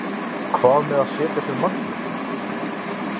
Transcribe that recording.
Hvað með að setja sér markmið?